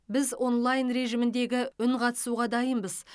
біз онлайн режиміндегі үнқатысуға дайынбыз